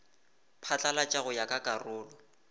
phatlalatšwa go ya ka karolo